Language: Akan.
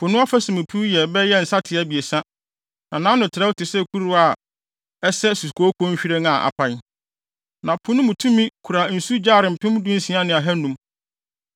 Po no afasu mu piw yɛ bɛyɛ nsateaa abiɛsa, na nʼano no trɛw te sɛ kuruwa a ɛsɛ sukooko nhwiren a apae. Na Po no tumi kora nsu gyare mpem dunsia ne ahannum.